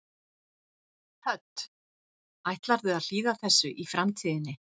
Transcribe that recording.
Hödd: Ætlarðu að hlýða þessu í framtíðinni?